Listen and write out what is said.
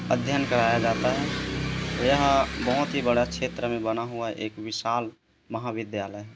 अध्ययन कराया जाता है यहाँ बहोत ही बड़ा क्षेत्र में बना हुआ एक विशाल महाविद्यालय है।